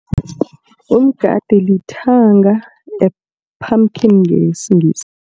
Umgade lithanga pumpkin ngesiNgisi.